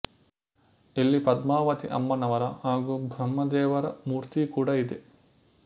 ಇಲ್ಲಿ ಪದ್ಮಾವತಿ ಅಮ್ಮನವರ ಹಾಗೂ ಬ್ರಹ್ಮದೇವರ ಮೂರ್ತಿ ಕೂಡ ಇದೆ